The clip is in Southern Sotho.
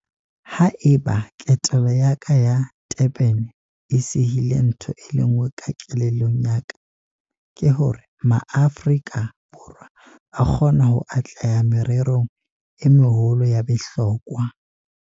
Ha eba ketelo ya ka ya Durban e sihile ntho e le nngwe ka kelellong ya ka, ke hore MaAforika Borwa a kgona ho atleha mererong e meholo ya bohlokwa.